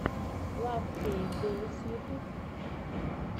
лав кейт долс ютуб